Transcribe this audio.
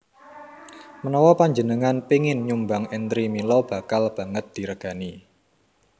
Menawa panjenengan péngin nyumbang entri mila bakal banget diregani